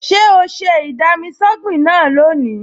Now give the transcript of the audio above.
Ṣé o ṣe ì-dami-sọ́gbìn náà lónìí?